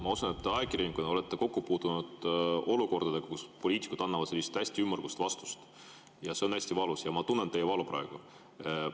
Ma usun, et ajakirjanikuna te olete kokku puutunud olukordadega, kus poliitikud annavad selliseid hästi ümmargusi vastuseid, see on hästi valus ja ma tunnen teie valu praegu.